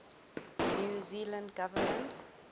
new zealand government